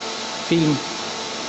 фильм